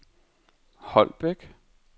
Holbæk